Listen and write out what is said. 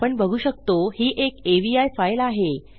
आपण बघू शकतो ही एक अवी फाइल आहे